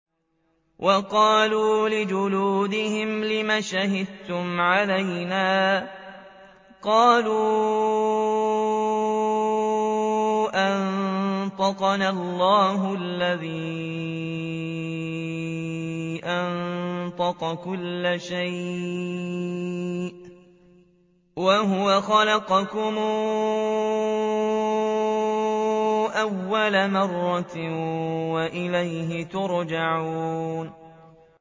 وَقَالُوا لِجُلُودِهِمْ لِمَ شَهِدتُّمْ عَلَيْنَا ۖ قَالُوا أَنطَقَنَا اللَّهُ الَّذِي أَنطَقَ كُلَّ شَيْءٍ وَهُوَ خَلَقَكُمْ أَوَّلَ مَرَّةٍ وَإِلَيْهِ تُرْجَعُونَ